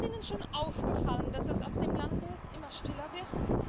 Ist Ihnen schon aufgefallen, dass es auf dem Lande immer stiller wird?